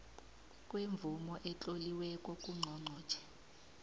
kwemvumo etloliweko kangqongqotjhe